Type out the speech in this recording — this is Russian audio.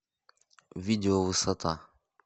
видео высота